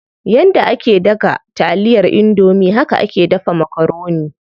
Yanda ake daga taliyar indomie haka ake dafa makaroni.